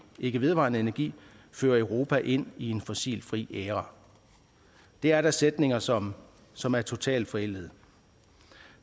ikke vedvarende energi føre europa ind i en fossilfri æra det er da sætninger som som er totalt forældede